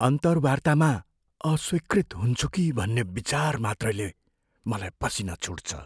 अन्तर्वार्तामा अस्वीकृत हुन्छु कि भन्ने विचार मात्रैले मलाई पसिना छुट्छ।